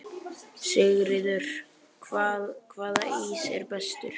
Sigríður: Hvaða ís er bestur?